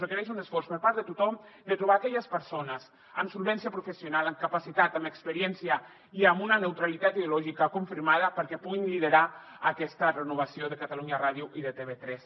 requereix un esforç per part de tothom de trobar aquelles persones amb solvència professional amb capacitat amb experiència i amb una neutralitat ideològica confirmada perquè puguin liderar aquesta renovació de catalunya ràdio i de tv3